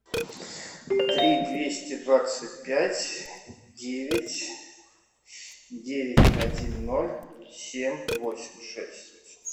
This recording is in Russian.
три двести двадцать пять девять девять один ноль семь восемь шесть